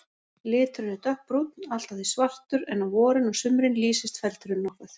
Liturinn er dökkbrúnn, allt að því svartur, en á vorin og sumrin lýsist feldurinn nokkuð.